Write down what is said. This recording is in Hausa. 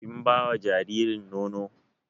Kin bawa jaririn nono?